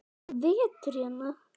Það er bara vetur hérna.